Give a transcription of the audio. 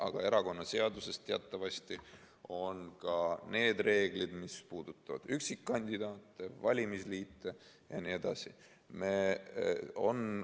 Aga erakonnaseaduses on teatavasti ka need reeglid, mis puudutavad üksikkandidaate, valimisliite jne.